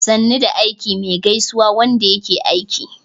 "sannu da aiki" me gaisuwan Wanda yake aiki